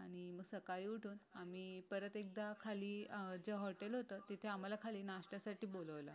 आणि मग सकाळी उठून आम्ही परत एकदा खाली जिथहॉटेल होतं तिथे आम्हाला ब्रेकफास्ट साठी बोलावलं